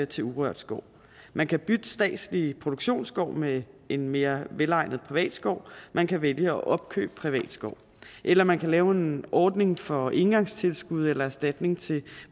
til urørt skov man kan bytte statslig produktionsskov med en mere velegnet privat skov man kan vælge at opkøbe privat skov eller man kan lave en ordning for engangstilskud eller erstatning til